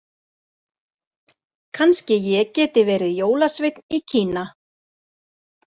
Kannski ég geti verið jólasveinn í Kína.